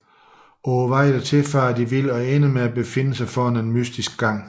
På vejen dertil farer de vildt og ender med at befinde sig foran en mystisk gang